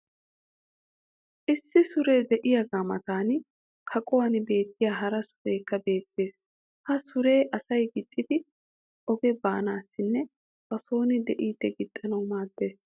issi suree diyaagaa matan kaquwan beetiya hara sureekka beetees. ha suree asay gixxidi oge baanaassinne ba sooni diidi gixxanawu maadees.